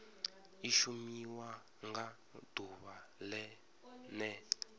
i shumiwa nga ḓuvha ḽene